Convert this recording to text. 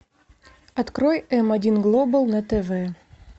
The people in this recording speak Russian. открой м один глобал на тв